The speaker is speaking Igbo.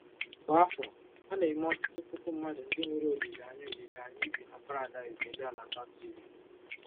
Kwa afọ, a na-eme ọtụtụ puku mmadụ ndị nwere olileanya olileanya ibi na paradaịs elu ala baptizim.